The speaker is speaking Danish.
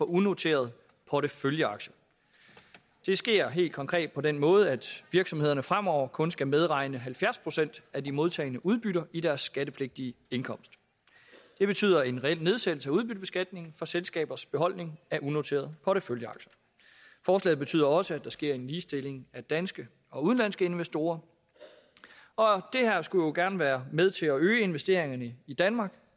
unoterede porteføljeaktier det sker helt konkret på den måde at virksomhederne fremover kun skal medregne halvfjerds procent af de modtagne udbytter i deres skattepligtige indkomst det betyder en reel nedsættelse af udbyttebeskatningen for selskabers beholdning af unoterede porteføljeaktier forslaget betyder også at der sker en ligestilling af danske og udenlandske investorer og det skulle gerne være med til at øge investeringerne i danmark